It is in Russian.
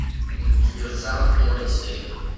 диверсант первая серия